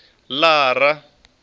lara